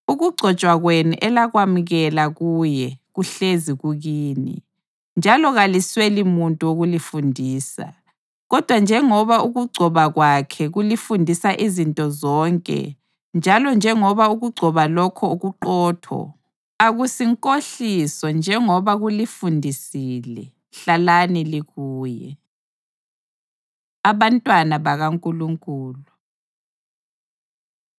Ukugcotshwa kwenu elakwamukela kuye, kuhlezi kukini, njalo kalisweli muntu wokulifundisa. Kodwa njengoba ukugcoba kwakhe kulifundisa izinto zonke njalo njengoba ukugcoba lokho kuqotho, akusinkohliso njengoba kulifundisile, hlalani likuye. Abantwana BakaNkulunkulu